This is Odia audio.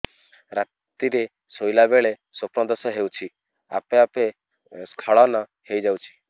ରାତିରେ ଶୋଇଲା ବେଳେ ସ୍ବପ୍ନ ଦୋଷ ହେଉଛି ଆପେ ଆପେ ସ୍ଖଳନ ହେଇଯାଉଛି